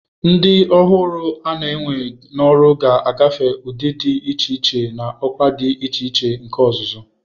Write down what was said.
Ndị ọhụrụ a na-ewe n'ọrụ ga-agafe ụdị dị iche iche na ọkwa dị iche iche nke ọzụzụ.